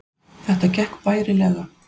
Þetta gekk bærilega